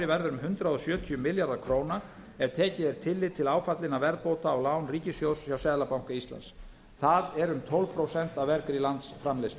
verður um hundrað sjötíu milljarðar króna ef tekið er tillit til áfallinna verðbóta á lán ríkissjóðs hjá seðlabanka íslands það er um tólf prósent af vergri landsframleiðslu